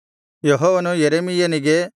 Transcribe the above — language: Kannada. ಯೆಹೋವನು ಯೆರೆಮೀಯನಿಗೆ